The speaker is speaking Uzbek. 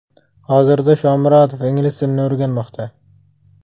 Hozirda Shomurodov ingliz tilini o‘rganmoqda.